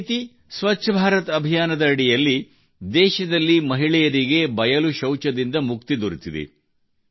ಇದೇ ರೀತಿ ಸ್ವಚ್ಛ ಭಾರತ್ ಅಭಿಯಾನದ ಅಡಿಯಲ್ಲಿ ದೇಶದಲ್ಲಿ ಮಹಿಳೆಯರಿಗೆ ಬಯಲು ಶೌಚದಿಂದ ಮುಕ್ತಿ ದೊರೆತಿದೆ